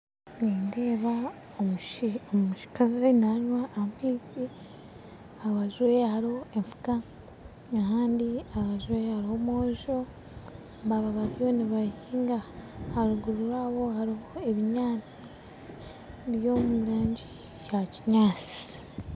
Nindeeba omukazi nanywa amaizi aharubaju rwe hariho enfuka ahandi aharubaju rwe hariho omwojo baaba bariyo nibahiinga haruguru rwabo hariho ebinyantsi biri omurangi ya kinyantsi.